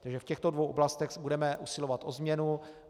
Takže v těchto dvou oblastech budeme usilovat o změnu.